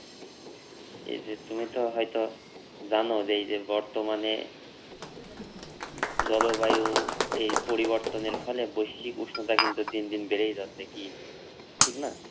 এই যে তুমি তো হয়তো জানো যে এই যে, বর্তমানে জলবায়ু এই পরিবর্তনের ফলে বৈশ্বিক উষ্ণতা কিন্তু দিন দিন বেড়েই যাচ্ছে। কি ঠিক না?